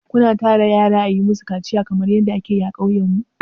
Ku na tara yara a yi ma su kaciya kamar yadda a ke yi a ƙauyen mu?